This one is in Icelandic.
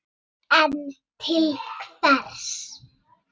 En til hvers?